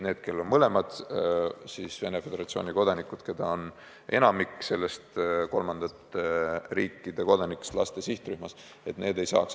Need, kellel on mõlemad vanemad Venemaa Föderatsiooni kodanikud – ja neid on enamik selles kolmandate riikide kodanike laste sihtrühmas – ei saaks.